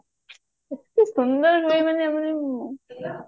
ଏତେ ସୁନ୍ଦର ହେଉ ଉଁ ଉଁ